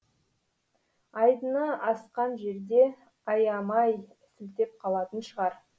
айдыны асқан жерде аямай сілтеп қалатын шығар